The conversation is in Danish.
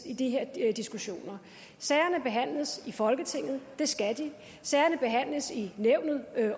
i de her diskussioner sagerne behandles i folketinget det skal de sagerne behandles i nævnet